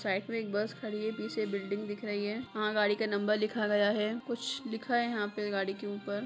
side मे एक bus खड़ी है पीछे एक बिल्डिंग दिख रही है वहां गाड़ी का नंबर लिखा गया है कुछ लिखा है यहाँ गाड़ी के ऊपर---